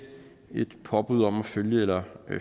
et påbud om følg eller